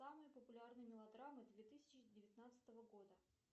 самые популярные мелодрамы две тысячи девятнадцатого года